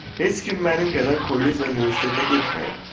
Heç kim mənim qədər kollec və universitetə getməyib.